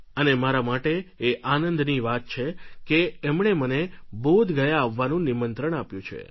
અને મારા માટે એ આનંદની વાત છે કે એમણે મને બોધગયા આવવાનું નિમંત્રણ આપ્યું છે